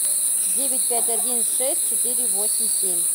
девять пять один шесть четыре восемь семь